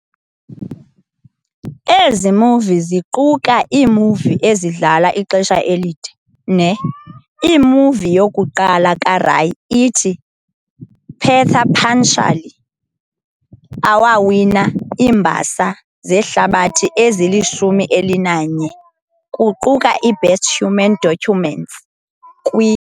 Ezi movie ziquka iimovie ezidlala ixesha elide, ] ne]. Imovie yokuqala kaRay, ithi"Pather Panchali", awawina iimbasa zehlabathi ezilishumi elinanye, kuquka i"Best Human Document" kw].